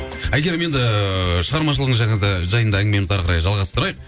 әйгерім енді шығармашылығыңыз жайында әңгімемізді әрі қарай жалғастырайық